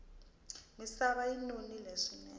misava yi nonile swinene